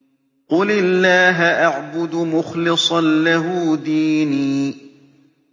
قُلِ اللَّهَ أَعْبُدُ مُخْلِصًا لَّهُ دِينِي